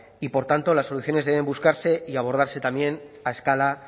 y por tanto las soluciones deben buscarse y abordarse también a escala